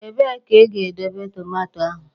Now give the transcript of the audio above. Ebee ka ị ga-edobe tomato ahụ?